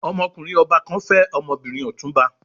Ọmọkùnrin ọba kan fẹ́ ọmọbìnrin Ọ̀túnba.